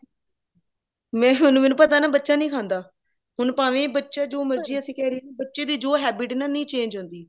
ਮੈਂ ਮੈਨੂੰ ਪਤਾ ਹੈ ਨਾ ਬੱਚਾ ਨਹੀਂ ਖਾਂਦਾ ਹੁਣ ਭਾਵੇ ਬੱਚਾ ਅਸੀਂ ਜੋ ਮਰਜੀ ਕਹਿਦੀਏ ਬੱਚੇ ਦੀ ਜੋ habit ਹੈ ਨਾ ਨਹੀਂ change ਹੁੰਦੀ